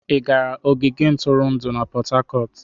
Ị gara ogige ntụrụndụ na Port Harcourt?